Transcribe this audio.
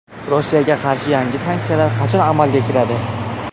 Rossiyaga qarshi yangi sanksiyalar qachon amalga kiradi?